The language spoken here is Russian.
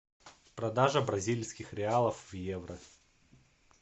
продажа бразильских реалов в евро